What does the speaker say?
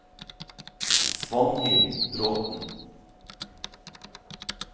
Svanhild Bråten